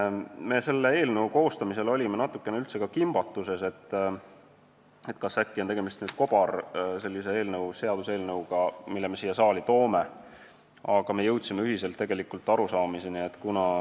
Me olime ka selle eelnõu koostamisel natukene kimbatuses, kas äkki on tegemist kobarseaduseelnõuga, mille me siia saali toome, aga me jõudsime ühisele arusaamisele.